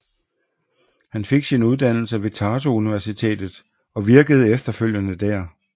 Han fik sin uddannelse ved Tartu Universitet og virkede efterfølgende der